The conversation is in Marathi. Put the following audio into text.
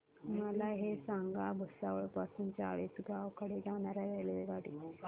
मला हे सांगा भुसावळ पासून चाळीसगाव कडे जाणार्या रेल्वेगाडी